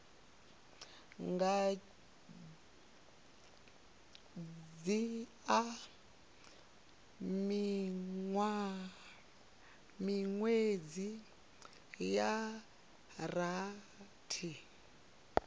nga dzhia miṅwedzi ya rathi